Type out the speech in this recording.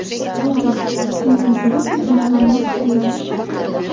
Oybek: Chunki guruh ijodi bilan mashg‘ulmiz.